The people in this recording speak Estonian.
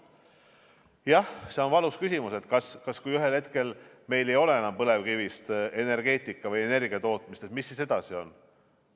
Jah, see on valus küsimus, et kui ühel hetkel meil ei ole enam põlevkivienergeetikat, põlevkivist energia tootmist, siis mis edasi saab.